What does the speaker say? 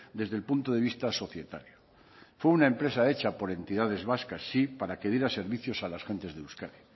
desde el punto de vista societario fue una empresa hecha por entidades vascas sí para que diera servicios a las gentes de euskadi